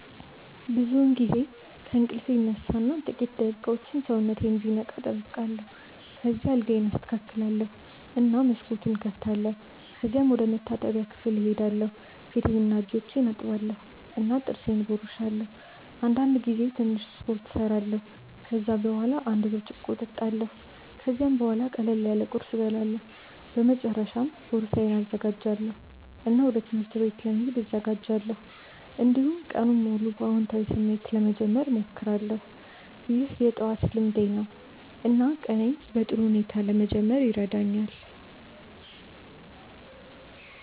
ብዙውን ጊዜ ከእንቅልፌ እነሳ እና ጥቂት ደቂቃዎች ሰውነቴን እንዲነቃ እጠብቃለሁ። ከዚያ አልጋዬን አስተካክላለሁ እና መስኮቱን እከፍታለሁ። ከዚያም ወደ መታጠቢያ ክፍል እሄዳለሁ ፊቴንና እጆቼን እታጠባለሁ እና ጥርሴን እቦርሳለሁ። አንዳንድ ጊዜ ትንሽ ስፖርት እሰራለሁ። ከዚያ በኋላ አንድ ብርጭቆ እጠጣለሁ። ከዚያም ቡሃላ ቅለል ያለ ቁርስ እበላለሁ። በመጨረሻ ቦርሳዬን እዘጋጃለሁ እና ወደ ትምህርት ቤት ለመሄድ እዘጋጃለሁ። እንዲሁም ቀኑን በአዎንታዊ ስሜት ለመጀመር እሞክራለሁ። ይህ የጠዋት ልምዴ ነው እና ቀኔን በጥሩ ሁኔታ ለመጀመር ይረዳኛል።